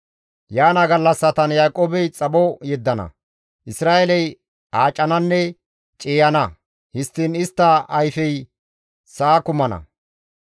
Yaana gallassatan Yaaqoobey xapho yeddana; Isra7eeley aacananne ciiyana; histtiin istta ayfey sa7a kumana.